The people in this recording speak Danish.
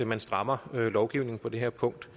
man strammer lovgivningen på det her punkt